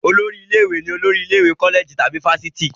Olórí ilé-ìwé ni olórí ilé ìwé kọ́lẹ̀jì tàbí fáfitì.